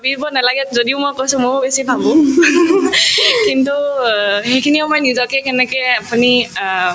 ভাবিব নালাগে যদিও মই কৈছো ময়ো বেছি ভাবো কিন্তু অ সেইখিনি সময় নিজকে কেনেকে আপুনি অ